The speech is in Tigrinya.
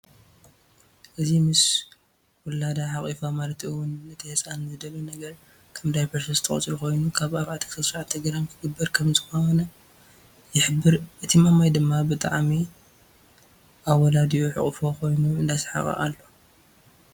እዚ ምስ ወላዳ ሓቂፋ ማለት እውን ነቲ ህፃን ዘድልዮ ነገራት ከም ዳፐር 3ተ ቁፅሪ ኮይኑ ካብ 4-9 ግራም ክግበር ከም ዝኮነ ይሕብር እቲ ማማይ ድማ ብጥዓሚ ኣወለዲኡ ሕቅፎ ኮይኑ እዳሳሓቀ ኣሎ።